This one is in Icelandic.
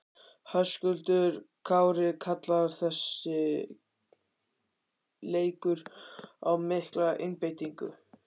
Höskuldur Kári: Kallar þessi leikur á mikla einbeitingu?